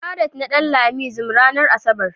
faret na Danlami zmranar asabar ne.